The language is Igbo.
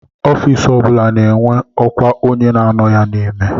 Ofiisi o bụla na-enwe ọkwa onye na-anọ ya n'ime